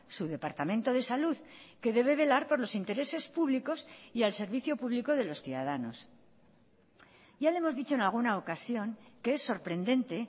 su departamento de salud que debe velar por los intereses públicos y al servicio público de los ciudadanos ya le hemos dicho en alguna ocasión que es sorprendente